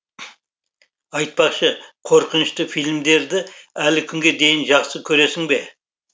айтпақшы қорқынышты фильмдерді әлі күнге дейін жақсы көресің бе